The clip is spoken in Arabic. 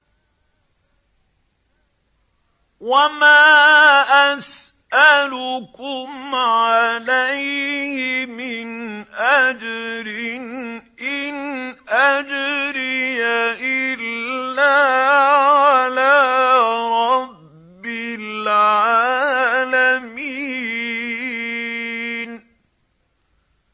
وَمَا أَسْأَلُكُمْ عَلَيْهِ مِنْ أَجْرٍ ۖ إِنْ أَجْرِيَ إِلَّا عَلَىٰ رَبِّ الْعَالَمِينَ